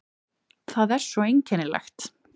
Það er svo einkennilegt.